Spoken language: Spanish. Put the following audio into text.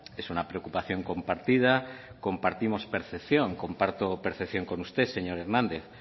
es una preocupación compartida compartimos percepción comparto percepción con usted señor hernández